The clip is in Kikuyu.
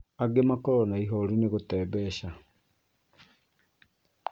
Angi makoragwo na ihoru nĩ gũte mbeca